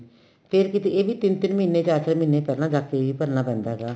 ਫੇਰ ਕਿੱਥੇ ਇਹ ਵੀ ਤਿੰਨ ਤਿੰਨ ਮਹੀਨੇ ਚਾਰ ਚਾਰ ਮਹੀਨੇ ਪਹਿਲਾਂ ਜਾ ਕੇ ਭਰਨਾ ਪੈਂਦਾ ਹੈਗਾ